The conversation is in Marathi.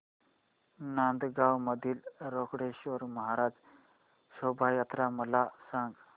नांदगाव मधील रोकडेश्वर महाराज शोभा यात्रा मला सांग